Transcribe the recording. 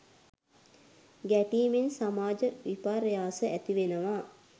ගැටීමෙන් සමාජ විපර්යාස ඇති වෙනවා.